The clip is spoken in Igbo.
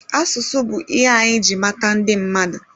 Asụsụ bụ ihe anyị ji amata ndị mmadụ.